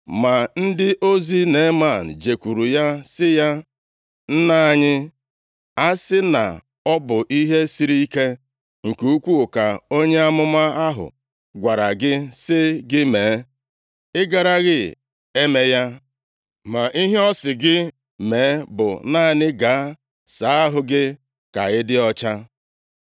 Ma ndị ozi Neeman jekwuru ya sị ya, “Nna anyị, a sị na ọ bụ ihe sịrị ike nke ukwuu ka onye amụma ahụ gwara gị sị gị mee, ị garaghị eme ya? Ma ihe ọ sị gị mee bụ naanị ‘Gaa saa ahụ gị ka ị dị ọcha.’ ”